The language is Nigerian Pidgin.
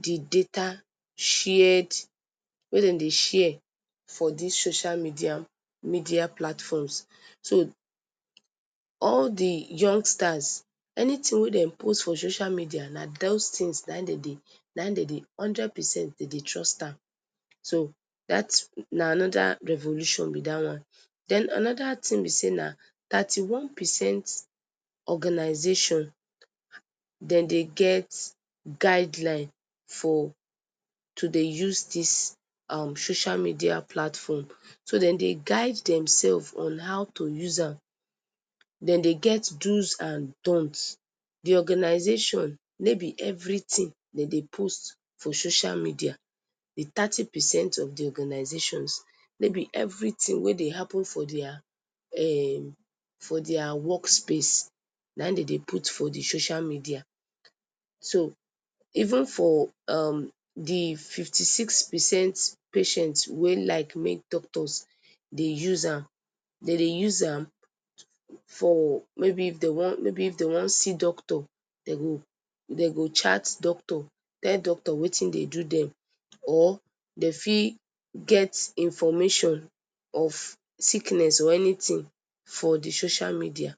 d data shared, wey dem dey share for dis social media platforms, so all d youngsters anything wey dem post for dis social media nah in dem dey, hundred percent dem dey trust am, so na anoda revolution b dat, den anoda thing b say na thirty one percent organization dem dey get guideline for, to dey use dis social media platform, so dem dey guide dem self on how to use am, dem dey get do’s and donts, d organization no b everything dem dey post for social media, d thirty percent of d organizations no b everything wey dey happen for their workspace nah in dem dey put for dia social media, so even for d fifty six percent patients wey like make doctors dey use am, dem dey use am for mayb if dem wan see doctor dem go chat doctor, tell doctor wetin dey do dem, or dem fit get information of sickness or anything for d social media.